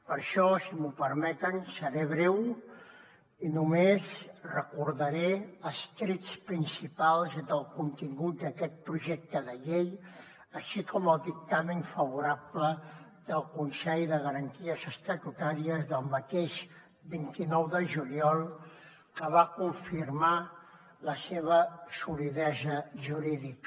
per això si m’ho permeten seré breu i només recordaré els trets principals del contingut d’aquest projecte de llei així com el dictamen favorable del consell de garanties estatutàries del mateix vint nou de juliol que va confirmar la seva solidesa jurídica